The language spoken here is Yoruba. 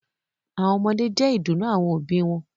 àwọn ọmọdé jẹ́ ìdùnnú àwọn òbí wọn